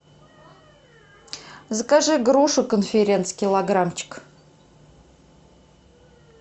закажи грушу конференц килограммчик